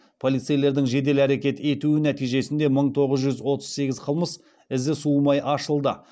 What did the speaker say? полицейлердің жедел әрекет етуі нәтижесінде мың тоғыз жүз отыз сегіз қылмыс ізі суымай ашылды